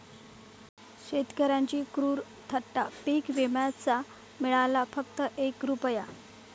शेतकऱ्यांची क्रूर थट्टा, पीक विम्याचा मिळाला फक्त एक रूपया